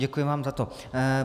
Děkuji vám za to.